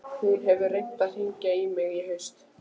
Hún hefur reynt að hringja í mig í haust.